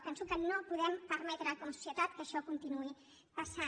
penso que no podem permetre com a societat que això continuï passant